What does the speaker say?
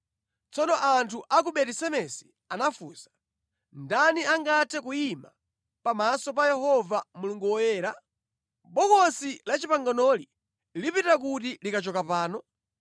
Tsono anthu a ku Beti-Semesi anafunsa, “Ndani angathe kuyima pamaso pa Yehova Mulungu Woyera? Bokosi la Chipanganoli lipita kuti likachoka pano?”